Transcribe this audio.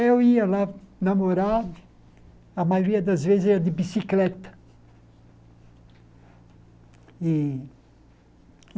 Eu ia lá namorar, a maioria das vezes era de bicicleta e.